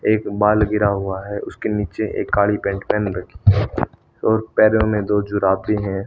एक बाल गिरा हुआ है उसके नीचे एक काडी पैंट पेहन रखी और पैरों मे दो जुराबे है।